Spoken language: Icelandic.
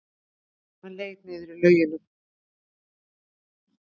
Hann leit niður í laugina.